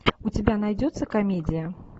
у тебя найдется комедия